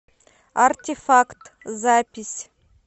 артефакт запись